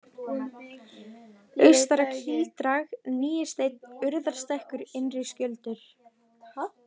Austara-Kíldrag, Nýisteinn, Urðarstekkur, Innri-Skjöldur